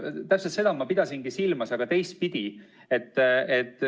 Täpselt seda ma pidasingi silmas, aga teistpidi.